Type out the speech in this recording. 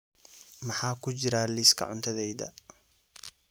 maxaa ku jira liiska cuntadayda